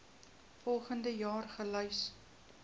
volgens jaar gelys